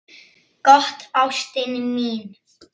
Gott, ástin mín.